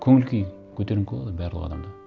көңіл күй көтерінкі болады ғой барлық адамда